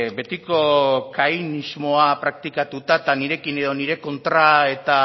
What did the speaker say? betiko kainismoa praktikatuta eta nirekin edo nire kontra eta